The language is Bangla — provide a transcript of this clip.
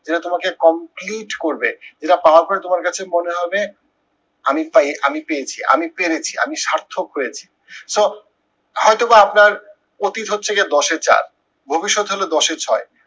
যেটা তোমাকে complete করবে এইটা পাওয়ার পরে তোমার কাছে মনে হবে, আমি পেয়ে আমি পেয়েছি আমি পেরেছি আমি সার্থক হয়েছি। so হয়তোবা আপনার অতীত হচ্ছে গিয়ে দশে চার, ভবিষ্যৎ হলো দশে ছয়।